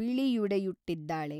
ಬಿಳಿಯುಡೆಯುಟ್ಟಿದ್ದಾಳೆ.